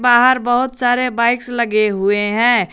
बाहर बहुत सारे बाइक्स लगे हुए हैं।